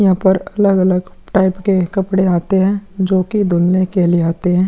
यहाँ पर अलग-अलग टाइप के कपड़े आते है जो की धुलने के लिए आते है।